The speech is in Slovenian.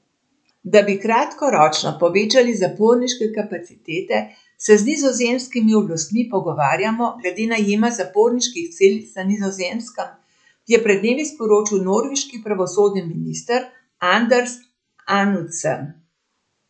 Da bi kratkoročno povečali zaporniške kapacitete, se z nizozemskimi oblastmi pogovarjamo glede najema zaporniških celic na Nizozemskem, je pred dnevi sporočil norveški pravosodni minister Anders Anundsen.